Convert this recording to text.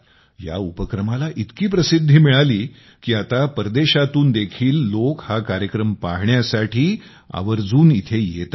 या उपक्रमाला इतकी प्रसिद्धी मिळाली की आता परदेशातून देखील लोक हा कार्यक्रम पाहण्यासाठी आवर्जून येथे येतात